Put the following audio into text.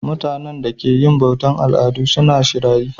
Mutanenda ke yin bautan aladu suna shirayi